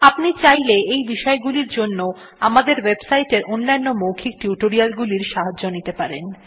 আপনি চাইলে এই বিষয় গুলির জন্য আমাদের ওয়েবসাইটের অন্যান্য মৌখিক টিউটোরিয়ালগুলির সাহায্য নিতে পারেন